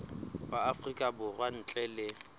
wa afrika borwa ntle le